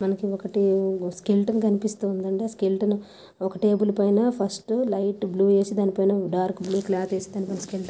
మనకి ఒక స్కెలిటన్ కనిపిస్తుంది అండి ఆ స్కెలిటన్ ఒక టేబుల్ పైన ఫస్ట్ లైట్ బ్ల్యూ వచ్చి దాని పైన డార్క్ డబ్ల్యూ క్లాత్ ఏసీ --